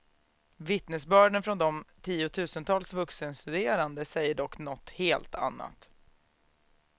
Vittnesbörden från de tiotusentals vuxenstuderande säger dock något helt annat.